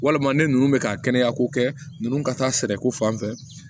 Walima ne ninnu bɛ ka kɛnɛyako kɛ ninnu ka taa sɛnɛko fan fɛ